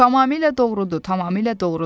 Tamamilə doğrudur, tamamilə doğrudur.